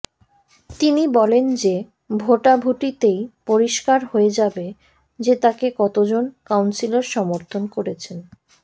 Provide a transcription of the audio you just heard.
তিনি বলেন যে ভোটাভুটিতেই পরিস্কার হয়ে যাবে যে তাকে কতোজন কাউন্সিলর সমর্থন করছেন